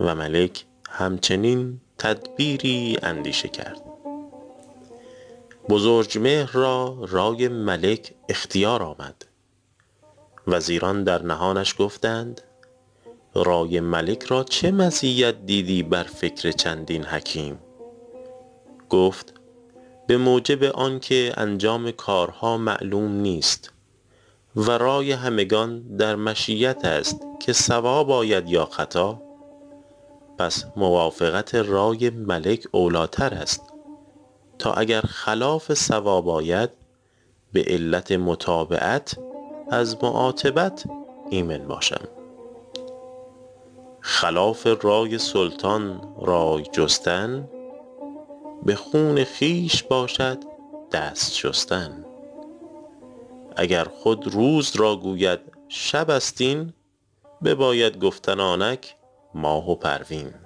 و ملک هم چنین تدبیری اندیشه کرد بزرجمهر را رای ملک اختیار آمد وزیران در نهانش گفتند رای ملک را چه مزیت دیدی بر فکر چندین حکیم گفت به موجب آن که انجام کارها معلوم نیست و رای همگان در مشیت است که صواب آید یا خطا پس موافقت رای ملک اولی ٰتر است تا اگر خلاف صواب آید به علت متابعت از معاتبت ایمن باشم خلاف رای سلطان رای جستن به خون خویش باشد دست شستن اگر خود روز را گوید شب است این بباید گفتن آنک ماه و پروین